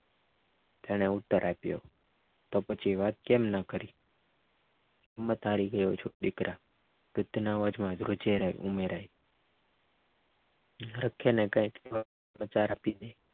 તેને ઉત્તર આપ્યો તો પછી વાત કેમ ન કરી હિંમત હારી ગયો છો દીકરા વૃદ્ધેના અવાજમાં ધ્રૂજેરાઈ ઉમેરાઈ ને કાઇ